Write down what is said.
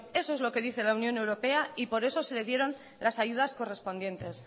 eso es lo que dice la unión europea y por eso se le dieron las ayudas correspondientes